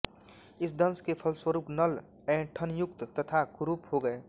इस दंश के फलस्वरूप नल ऐंठनयुक्त तथा कुरूप हो गये